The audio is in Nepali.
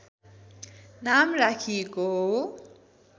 नाम राखिएको हो